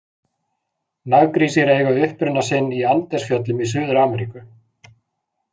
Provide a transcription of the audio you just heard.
Naggrísir eiga uppruna sinn í Andesfjöllum í Suður-Ameríku.